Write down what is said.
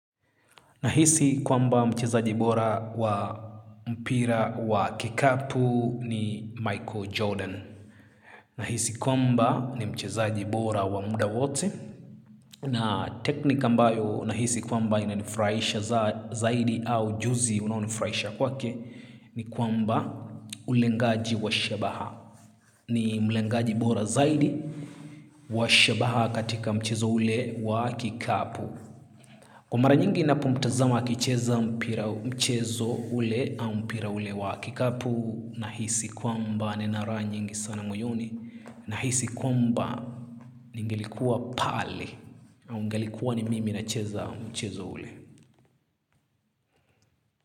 Nahisi kwamba mchezaji bora wa mpira wa kikapu ni Michael Jordan. Nahisi kwamba ni mchezaji bora wa muda wote. Na teknika mbayo nahisi kwamba inanifurahisha zaidi au juzi unaonifraisha kwake. Ni kwamba ulengaji wa shabaha. Ni mlengaji bora zaidi wa shabaha katika mcheza ule wa kikapu. Kwq mara nyingi na ninapomtazama akicheza mpira mchezo ule au mpira ule wa kikapu na hisi kwamba nina raha nyingi sana mwoyoni na hisi kwamba ningelikuwa pale au ngelikuwa ni mimi na cheza mchezo ule.